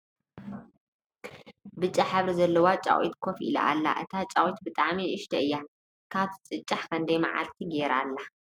ብጫ ሕብሪ ዘለዋ ጫቂት ኮፍ ኢላ ኣላ እታ ጫቂት ብጣዕሚ ንእሽቶይ እያ ። ካብ ትጭጫሕ ክንደይ መዕልቲ ገይራ እላ ?